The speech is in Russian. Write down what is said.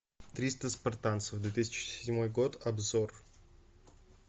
триста спартанцев две тысячи седьмой год обзор